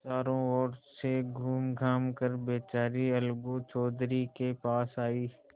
चारों ओर से घूमघाम कर बेचारी अलगू चौधरी के पास आयी